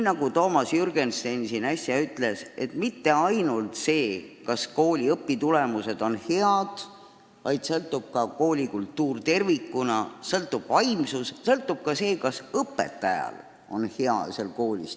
Nagu Toomas Jürgenstein äsja ütles: koolijuhist ei sõltu ainult see, kas kooli õpitulemused on head, temast sõltub ka kooli kultuur tervikuna, sõltub kooli vaimsus ja ka see, kas õpetajal on hea seal töötada.